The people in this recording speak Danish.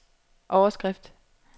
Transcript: overskrift